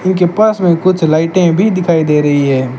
इनके पास में कुछ लाइटें भी दिखाई दे रही है।